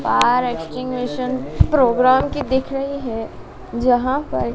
बाहर एक्सटिंग्विशन प्रोग्राम की दिख रही है जहां पर--